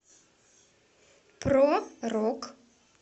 про рок